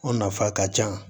O nafa ka ca